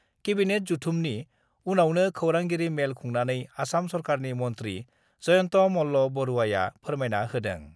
Cabinet जथुमनि उनावनो खौरांगिरि मेल खुंनानै आसाम सरकारनि मन्थ्रि जयन्त मल्ल बरुवाया फोरमायना होदों।